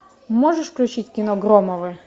можешь включить кино громовы